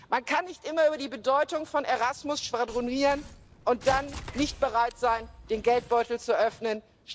Man kann nicht immer über die Bedeutung von Erasmus schwadronieren und dann nicht bereit sein, den Geldbeutel zu öffnen.